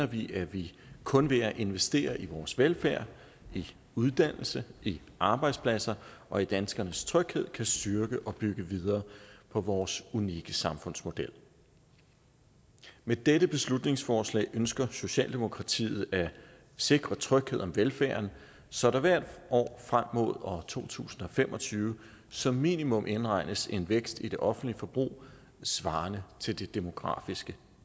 vi at vi kun ved at investere i vores velfærd i uddannelse i arbejdspladser og i danskernes tryghed kan styrke og bygge videre på vores unikke samfundsmodel med dette beslutningsforslag ønsker socialdemokratiet at sikre tryghed om velfærden så der hvert år frem mod år to tusind og fem og tyve som minimum indregnes en vækst i det offentlige forbrug svarende til det demografiske